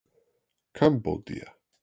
Kambódía